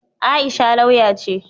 Aisha lauya ce.